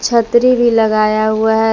छतरी भी लगाया हुआ है।